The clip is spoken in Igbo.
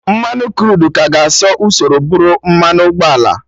Mmanụ Kruud ga-eso usoro bụrụ mmanụ ụgbọala